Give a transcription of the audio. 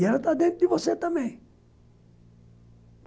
E ela está dentro de você também.